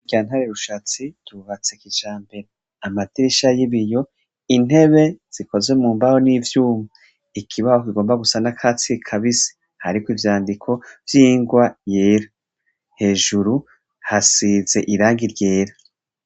Yantare rushatsi yubatse kica mbera amadirisha y'ibiyo intebe zikoze mu mbaho n'ivyuma ikibaho kigomba gusa na katsi kabise hariko ivyandiko vyingwa yera hejuru hasize irangi ryera.